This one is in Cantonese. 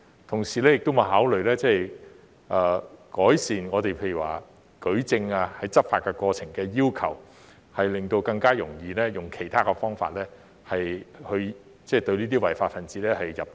同時，有否考慮改善執法過程的舉證要求，以便更容易運用其他方法，令這些違法分子入罪？